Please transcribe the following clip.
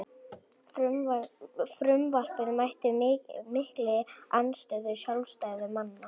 Frumvarpið mætti mikilli andstöðu sjálfstæðismanna